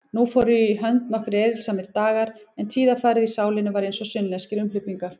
Fóru nú í hönd nokkrir erilsamir dagar, en tíðarfarið í sálinni var einsog sunnlenskir umhleypingar.